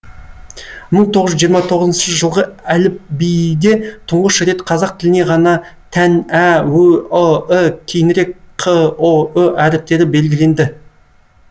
мың тоғыз жүз жиырма тоғызыншы жылғы әліпиде тұңғыш рет қазақ тіліне ғана тән ә ө ы і кейінірек қ ұ ү әріптері белгіленді